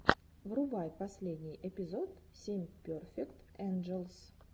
врубай последний эпизод семь перфект энджелс